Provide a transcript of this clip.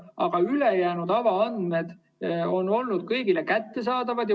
Aga ülejäänud avaandmed on olnud kõigile kättesaadavad.